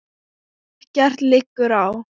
Ekkert liggur á.